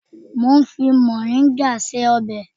Mo ń fi mọ̀ríngà ṣe ọbẹ̀